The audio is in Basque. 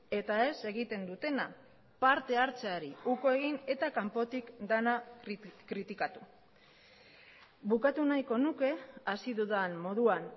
eta ez egiten dutena parte hartzeari uko egin eta kanpotik dena kritikatu bukatu nahiko nuke hasi dudan moduan